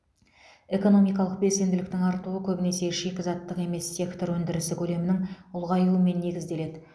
экономикалық белсенділіктің артуы көбінесе шикізаттық емес сектор өндірісі көлемінің ұлғаюымен негізделеді